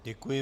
Děkuji.